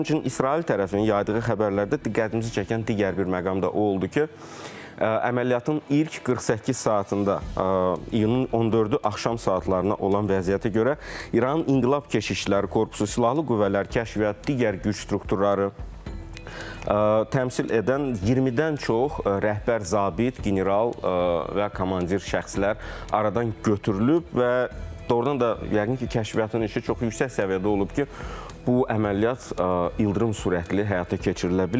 Həmçinin İsrail tərəfinin yaydığı xəbərlərdə diqqətimizi çəkən digər bir məqam da o oldu ki, əməliyyatın ilk 48 saatında iyunun 14-ü axşam saatlarına olan vəziyyətə görə İranın İnqilab Keşikçiləri Korpusu, Silahlı Qüvvələr, Kəşfiyyat, digər güc strukturları təmsil edən 20-dən çox rəhbər zabit, general və komandir şəxslər aradan götürülüb və doğurdan da yəqin ki, kəşfiyyatın işi çox yüksək səviyyədə olub ki, bu əməliyyat ildırım sürətli həyata keçirilə bilib.